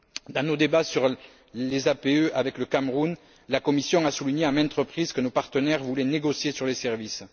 Dans nos débats sur les APE avec le Cameroun, la Commission a souligné à maintes reprises que nos partenaires voulaient négocier sur les services.